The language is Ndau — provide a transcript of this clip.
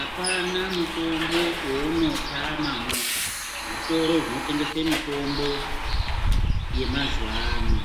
Apana mutombo wouno tama mu zvitoro zvino tengeswe mitombo ye mazuva ano